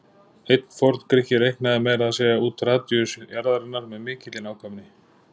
Einn forn-Grikki reiknaði meira að segja út radíus jarðarinnar með mikilli nákvæmni.